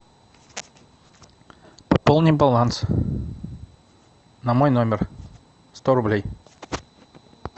пополни баланс на мой номер сто рублей